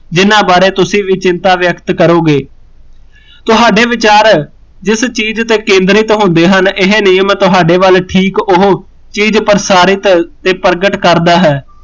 ਜਿਹਨਾਂ ਬਾਰੇ ਤੁਸੀਂ ਵੀ ਚਿੰਤਾ ਵਿਅਕਤ ਕਰੋਗੇ ਤੁਹਾਡੇ ਵਿਚਾਰ, ਜਿਸ ਚੀਜ਼ ਤੇ ਕੇਂਦਰਿਤ ਹੁੰਦੇ ਹਨ ਇਹ ਨਿਯਮ ਤੁਹਾਡੇ ਵੱਲ ਠੀਕ ਉਹ, ਚੀਜ਼ ਪ੍ਰਸਾਰਿਤ ਤੇ ਪ੍ਰਗਟ ਕਰਦਾ ਹੈ